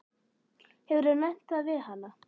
Hefurðu nefnt það við hana?